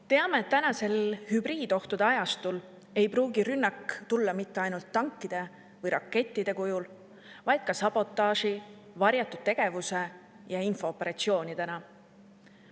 Teame, et praegusel hübriidohtude ajastul ei pruugi rünnak tulla mitte ainult tankide või rakettide kujul, vaid ka sabotaaži, varjatud tegevuse ja infooperatsioonidena.